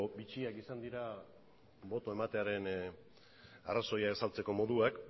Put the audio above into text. bitxiak izan dira boto ematearen arrazoia azaltzeko moduak